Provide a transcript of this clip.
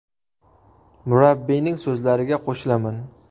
Murabbiyning so‘zlariga qo‘shilaman.